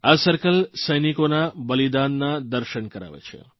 આ સર્કલ સૈનિકોના બલીદાનના દર્શન કરાવે છે